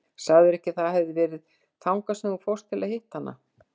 Sagðirðu ekki að það hefði verið þangað sem þú fórst til að hitta hana?